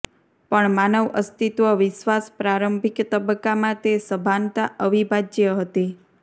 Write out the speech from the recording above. પણ માનવ અસ્તિત્વ વિશ્વાસ પ્રારંભિક તબક્કામાં તે સભાનતા અવિભાજ્ય હતી